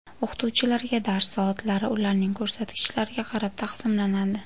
O‘qituvchilarga dars soatlari ularning ko‘rsatkichlariga qarab taqsimlanadi.